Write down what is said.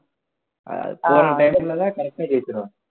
ஆஹ் போற time ல correct அ ஜெயிச்சிருவாங்க